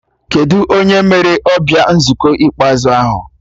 Kedụ onye mere ọbịa nzukọ ikpeazụ ahụ?